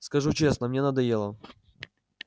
скажу честно мне надоело